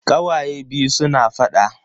Kawaye biyun suna faɗa.